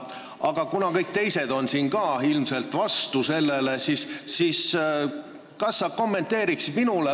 Aga kuna ka kõik teised siin on ilmselt vastu, siis kas sa kommenteeriksid?